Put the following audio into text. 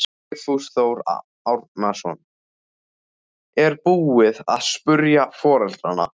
Vigfús Þór Árnason: Er búið að spyrja foreldrana?